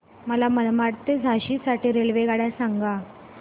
मला मनमाड ते झाशी साठी रेल्वेगाड्या सांगा